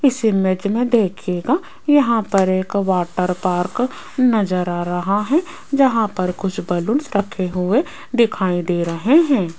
इस इमेज में देखिएगा यहां पर एक वाटर पार्क नजर आ रहा है जहां पर कुछ बलूंस रखे हुए दिखाई दे रहे हैं।